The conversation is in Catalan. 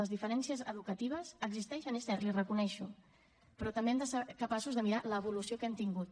les diferències educatives existeixen és cert l’hi reconec però també hem de ser capaços de mirar l’evolució que hem tingut